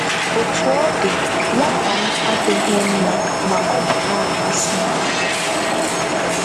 Otú ọ dị, nwata m adịghị mma ma ọ bụ na-amasị m.